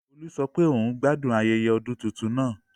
Olú sọ pé òun gbádùn ayẹyẹ ọdún tuntun náà